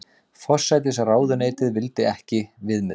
Forsætisráðuneytið vildi ekki viðmið